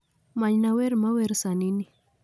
Manyna wer mawer sani ni